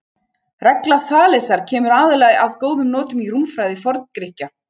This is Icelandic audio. Regla Þalesar kemur aðallega að góðum notum í rúmfræði Forngrikkja.